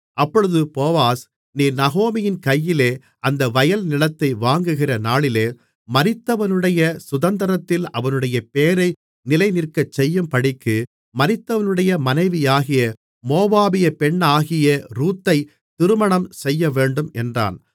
அப்பொழுது போவாஸ் நீர் நகோமியின் கையிலே அந்த வயல்நிலத்தை வாங்குகிற நாளிலே மரித்தவனுடைய சுதந்தரத்தில் அவனுடைய பெயரை நிலைநிற்கச்செய்யும்படிக்கு மரித்தவனுடைய மனைவியாகிய மோவாபியப் பெண்ணாகிய ரூத்தைத் திருமணம் செய்யவேண்டும் என்றான்